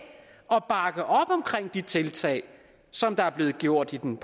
og bakke op om de tiltag som der er blevet gjort i den